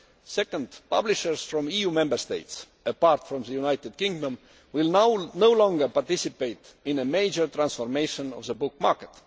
now. Second, publishers from EU Member States apart from the United Kingdom will now no longer participate in a major transformation of the book market.